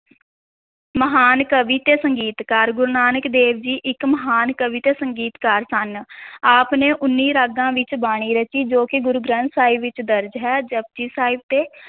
ਮਹਾਨ ਕਵੀ ਤੇ ਸੰਗੀਤਕਾਰ, ਗੁਰੂ ਨਾਨਕ ਦੇਵ ਜੀ ਇੱਕ ਮਹਾਨ ਕਵੀ ਤੇ ਸੰਗੀਤਕਾਰ ਸਨ ਆਪ ਨੇ ਉੱਨੀ ਰਾਗਾਂ ਵਿੱਚ ਬਾਣੀ ਰਚੀ, ਜੋ ਕਿ ਗੁਰੂ ਗ੍ਰੰਥ ਸਾਹਿਬ ਵਿੱਚ ਦਰਜ ਹੈ, ਜਪੁਜੀ ਸਾਹਿਬ ਤੇ